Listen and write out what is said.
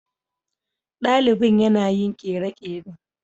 Dalibin yana yin kere-kere.